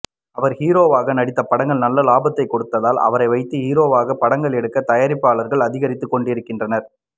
அவர் ஹீரோவாக நடித்த படங்கள் நல்ல லாபத்தை கொடுத்ததால் அவரை வைத்து ஹீரோவாக படங்கள் எடுக்கும் தயாரிப்பாளர்கள் அதிகரித்து கொண்டிருக்கின்றனர்